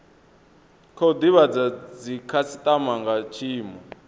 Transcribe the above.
khou divhadza dzikhasitama nga tshiimo